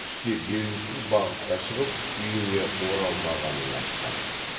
түсте белгісіз бағытта шығып үйіне оралмағанын айтқан